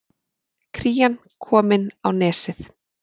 Krían komin á Nesið